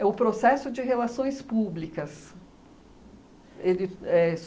É o processo de relações públicas. Ele éh